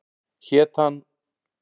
Hét hann